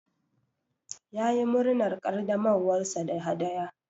Ya yi murnar ƙaddamarwar sa da hadaya.